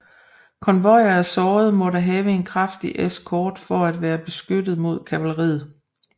Konvojer af sårede måtte have en kraftig eskort for at være beskyttet mod kavaleriet